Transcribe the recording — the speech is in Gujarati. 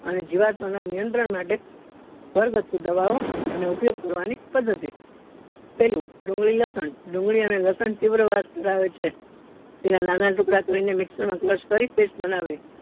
અને જીવાતો ના નિયંત્રણ માટે ઘર ગાથું દવા ઓ અને ઉપયોગ કરવા ની પદ્ધતિ પેલું ડુંગળી લસણ ડુંગળી અને લસણ તીવ્ર વાસ ધરાવે છે તેના નાના ટુકડા કરીને mixture માં crush કરી pest બનાવી